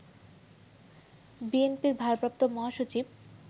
বিএনপির ভারপ্রাপ্ত মহাসচিব